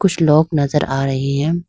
कुछ लोग नजर आ रहे हैं।